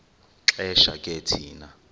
xesha ke thina